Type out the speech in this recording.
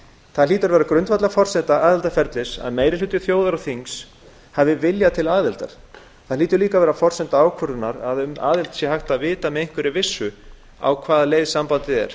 það hlýtur að vera grundvallarforsenda aðildarferlis að meiri hluti þjóðar og þings hafi vilja til aðildar það hlýtur líka að vera forsenda ákvörðunar um aðild að hægt sé að vita með einhverri vissu á hvaða leið sambandið er